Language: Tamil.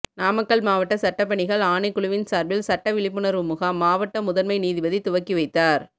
நாமக்கல் மாவட்ட சட்டப்பணிகள் ஆணைக்குழுவின் சார்பில் சட்ட விழிப்புணர்வு முகாம் மாவட்ட முதன்மை நீதிபதி துவக்கி வைத்தார்